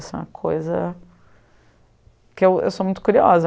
Isso é uma coisa... que eu eu sou muito curiosa.